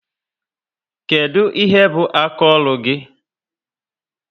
Kedu ihe bu aka ọrụ gị?